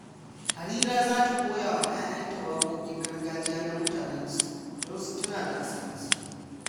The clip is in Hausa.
Harira za ta koya wa 'ya'yanta wakokin gargajiya na mutanensu don su tuna asalinsu.